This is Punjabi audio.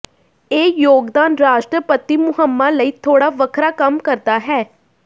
ਇਹ ਯੋਗਦਾਨ ਰਾਸ਼ਟਰਪਤੀ ਮੁਹਿੰਮਾਂ ਲਈ ਥੋੜਾ ਵੱਖਰਾ ਕੰਮ ਕਰਦਾ ਹੈ